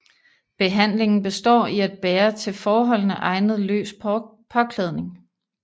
Behandlingen består i at bære til forholdene egnet løs påklædning